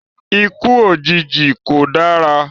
Ikú òjijì kò dára